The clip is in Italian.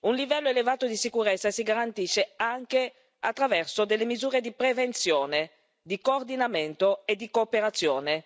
Un livello elevato di sicurezza si garantisce anche attraverso delle misure di prevenzione, di coordinamento e di cooperazione.